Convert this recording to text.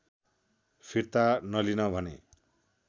फिर्ता नलिन भने